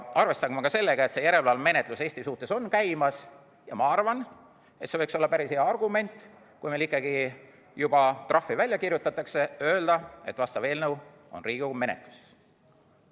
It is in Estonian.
Arvestagem ka sellega, et järelevalvemenetlus Eesti suhtes on käimas, ja ma arvan, et see võiks olla päris hea argument, kui meile juba trahvi välja kirjutatakse, öelda, et vastav eelnõu on Riigikogu menetluses.